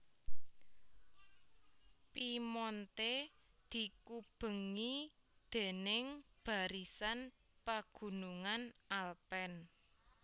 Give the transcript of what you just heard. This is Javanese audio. Piemonte dikubengi déning barisan pagunungan Alpen